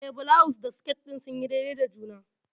Eh, bulawus da sket din sunyi daidai da juna.